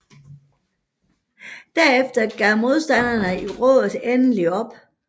Derefter gav modstanderne i rådet endelig op